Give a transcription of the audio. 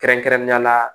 Kɛrɛnkɛrɛnnenya la